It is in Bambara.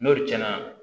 N'olu cɛn na